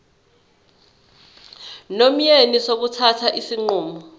nomyeni sokuthatha isinqumo